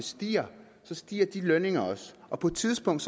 stiger stiger de lønninger også og på et tidspunkt